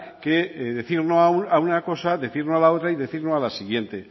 que decir un no a una cosa decir no a la otra y decir no a la siguiente